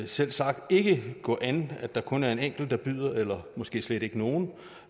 selvsagt ikke gå an at der kun er en enkelt der byder eller måske slet ikke nogen